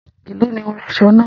Ẹ̀lọ́ ni o rán aṣọ̣ náà?